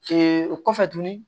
o kɔfɛ tuguni